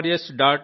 gov